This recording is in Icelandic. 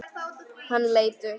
Hann leit upp.